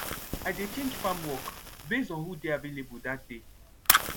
i dey change farm work base on who dey available dat day